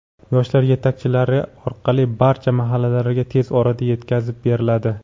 yoshlar yetakchilari orqali barcha mahallalarga tez orada yetkazib beriladi.